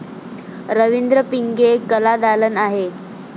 रवींद्र पिंगे कलादालन आहे.